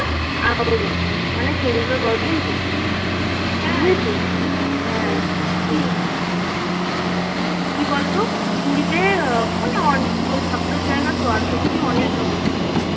আওয়াজ আসে না মানে সমুদ্রের গর্জন ঢোকে না বুঝেছিস? হ্যাঁ কি কি বলতো? পুরীতে মানে কি বল ঠাকুরের জায়গা তো আর সত্যিই অনেক রহস্য.